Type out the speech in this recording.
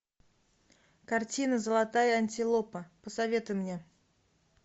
картина золотая антилопа посоветуй мне